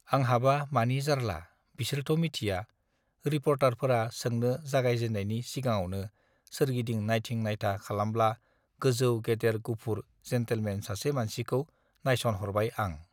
आंहाबा मानि जार्ला बिसोरथमिथिया रिपर्टारफोरा सोंनो जागायजेननायनि सिगाङावनो सोरगिदिं नायथिं नायथा खालामब्ला गोजौ गेदेर गुफुर जेन्टेलमेन सासे मानसिखौ नायसनहरबाय आं